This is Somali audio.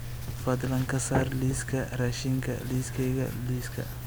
fadlan ka saar liiska raashinka liiskayga liiska